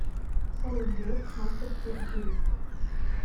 салют греф мастерский аферист